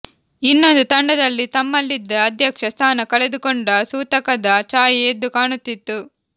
ಇನ್ನೊಂದು ತಂಡದಲ್ಲಿ ತಮ್ಮಲಿದ್ದ ಅಧ್ಯಕ್ಷ ಸ್ಥಾನ ಕಳೆದುಕೊಂಡ ಸೂತಕದ ಛಾಯೆ ಎದ್ದು ಕಾಣುತಿತ್ತು